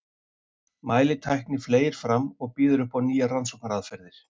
Mælitækni fleygir fram og býður upp á nýjar rannsóknaraðferðir.